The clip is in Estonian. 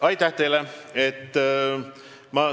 Aitäh teile!